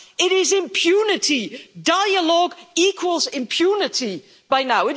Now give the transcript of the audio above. It is impunity dialogue equals impunity by now.